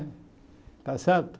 Está certo?